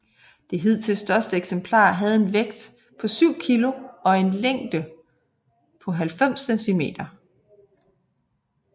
Det hidtil største eksemplar havde en vægt på 7 Kg og en længde på 90cm